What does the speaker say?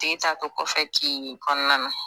Tigi t'a to kɔfɛ k'i ye kɔnɔna na